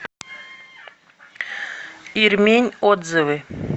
ирмень отзывы